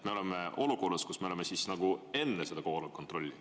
Me oleme olukorras, kus me oleme enne seda kohaloleku kontrolli.